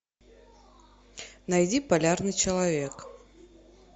найди полярный человек